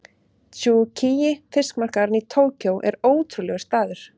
Tsukiji fiskmarkaðurinn í Tókýó er ótrúlegur staður.